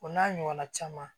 O n'a ɲɔgɔn na caman